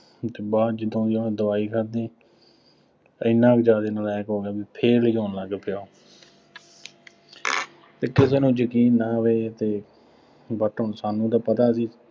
ਉਹ ਤੋਂ ਬਾਅਦ ਜਦੋਂ ਦੀ ਉਹਨੇ ਦਵਾਈ ਖਾਧੀ ਐਨਾ ਕੁ ਜ਼ਿਆਦਾ ਨਲਾਇਕ ਹੋ ਗਿਆ, ਬਈ fail ਹੀ ਹੋਣ ਲੱਗ ਪਿਆ ਇੱਥੇ ਤੁਹਾਨੂੰ ਯਕੀਨ ਨਾ ਆਵੇ ਅਤੇ but ਹੁਣ ਸਾਨੂੰ ਤਾਂ ਪਤਾ ਸੀ।